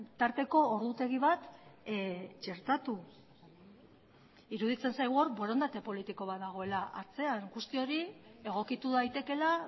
tarteko ordutegi bat txertatu iruditzen zaigu hor borondate politiko bat dagoela atzean guzti hori egokitu daitekeela